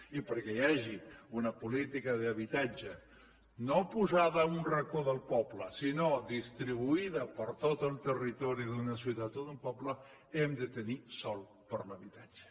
i perquè hi hagi una política d’habitatge no posada en un racó del poble sinó distribuïda per tot el territori d’una ciutat o d’un poble hem de tenir sòl per a l’habitatge